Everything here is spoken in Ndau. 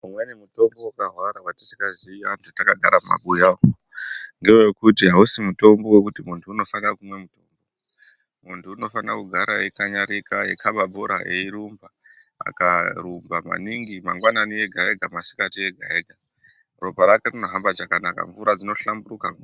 Umweni mutombo vakahwara vatisikazii antu takagara mumabuya umu. Ngevekuti hausi mutombo vekuti muntu unosaka kumwa mutombo. Muntu unofana kugara eikanyarika eikaba bhora eirumba. Akarumba maningi mangwanani ega-ega masikati ega-ega, ropa rake rinohamba chakanaka mvura dzinohlamburuka.